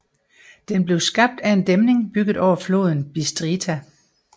Den blev skabt af en dæmning bygget over floden Bistrița